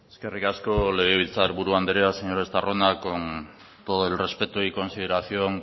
eskerrik asko legebiltzar buru andrea señor estarrona con todo el respeto y consideración